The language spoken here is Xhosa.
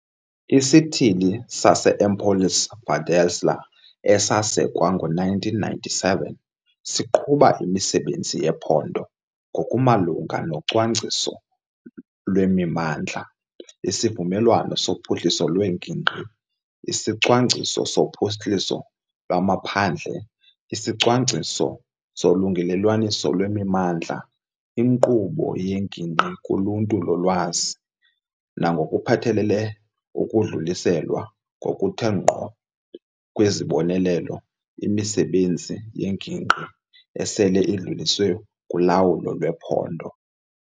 ISithili sase-Empolese Valdelsa, esasekwa ngo-1997, siqhuba imisebenzi yephondo ngokumalunga nocwangciso lwemimandla isivumelwano sophuhliso lwengingqi, isicwangciso sophuhliso lwamaphandle, isicwangciso solungelelwaniso lwemimandla, inkqubo yengingqi kuluntu lolwazi nangokuphathelele ukudluliselwa ngokuthe ngqo kwezibonelelo imisebenzi yengingqi esele idluliselwe kuLawulo lwePhondo.